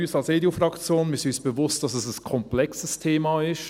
Uns als EDU-Fraktion ist bewusst, dass es ein komplexes Thema ist.